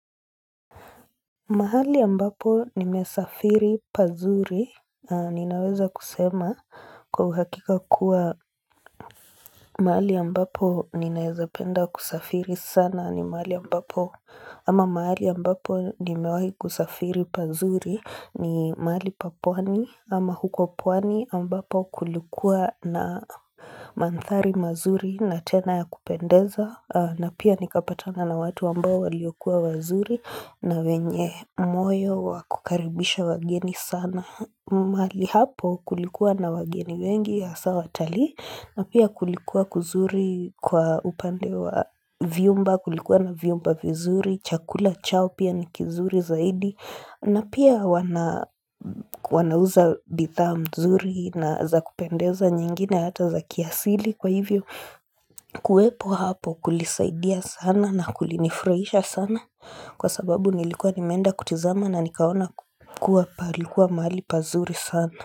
Mahali ambapo nimesafiri pazuri, ninaweza kusema kwa uhakika kuwa mahali ambapo ninaeza penda kusafiri sana ni mahali ambapo, ama mahali ambapo nimewahi kusafiri pazuri ni mahali pa pwani, ama huko pwani ambapo kulikua na mandhari mazuri na tena ya kupendeza, na pia nikapatana na watu ambao waliokuwa wazuri na wenye moyo wa kukaribisha wageni sana. Mahali hapo kulikuwa na wageni wengi hasa watalii. Na pia kulikuwa kuzuri kwa upande wa vyumba, kulikuwa na vyumba vizuri. Chakula chao pia ni kizuri zaidi. Na pia wanauza bidhaa mzuri na za kupendeza nyingine hata za kiasili. Kwa hivyo kuwepo hapo kulisaidia sana na kulinifurahisha sana Kwa sababu nilikuwa nimeenda kutazama na nikaona kukua palikuwa mahali pazuri sana.